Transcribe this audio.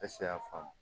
y'a faamu